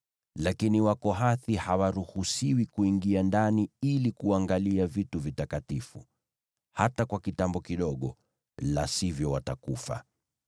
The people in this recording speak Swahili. Lakini Wakohathi hawaruhusiwi kuingia ndani ili kuangalia vitu vitakatifu, hata kwa kitambo kidogo, la sivyo watakufa.”